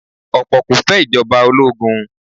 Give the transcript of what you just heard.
Ọ̀pọ̀ kò fẹ́ Ìjọba ológun